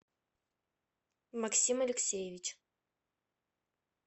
максим алексеевич